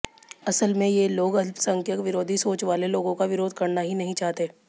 असल में ये लोग अल्पसंख्यक विरोधी सोच वाले लोगों का विरोध करना ही नहीं चाहते